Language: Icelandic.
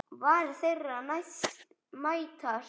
Varir þeirra mætast.